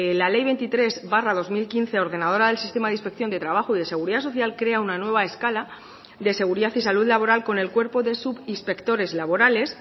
la ley veintitrés barra dos mil quince ordenadora del sistema de inspección de trabajo y de seguridad social crea una nueva escala de seguridad y salud laboral con el cuerpo de subinspectores laborales